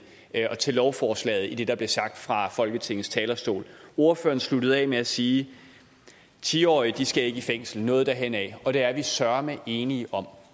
og til lovforslaget i det der blev os sagt fra folketingets talerstol ordføreren sluttede af med at sige ti årige skal ikke i fængsel noget derhenad og det er vi søreme enige om